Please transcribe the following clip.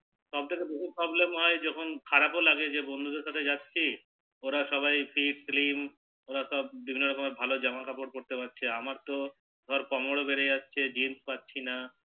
সব থেকে বহুত Problem হয় যখন খারাপও লাগে যে বন্ধু দের সাথে যাচ্ছি ওরা সবাই Fit Slim ওরা সব বিভিন্ন রকমের জামা কাপড় পরতে পারছে আর আমার তো ধর কোমরও বেড়ে যাচ্ছে Jins পারছি না